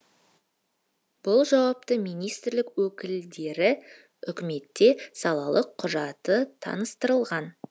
бұл жауапты министрлік өкілдері үкіметте салалық құжаты таныстырылған